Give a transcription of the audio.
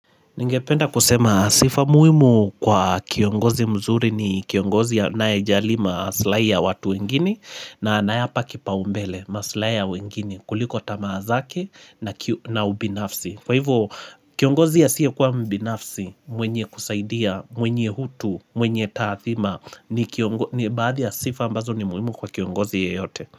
Ningependa kusema sifa muhimu kwa kiongozi mzuri ni kiongozi anaye jali maslahi ya watu wengine na anayapa kipaumbele maslahi ya wengine kuliko tamaa zake na ubinafsi. Kwa hivyo kiongozi asiye kuwa mbinafsi mwenye kusaidia, mwenye hutu, mwenye taathima ni kiongozi ya sifa ambazo ni muhimu kwa kiongozi yeyote.